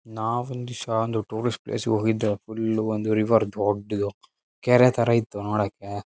ನಾವು ಒಂದಿಸಾ ಒಂದ್ ಟೂರಿಸ್ಟ್ ಪ್ಲೇಸ್ ಹೋಗಿದ್ದೋ ಫುಲ್ ಒಂದ್ ರಿವರ್ ದೊಡ್ದು ಕೆರೆತರ ಇತ್ತು ನೋಡೋಕ್ಕೆ.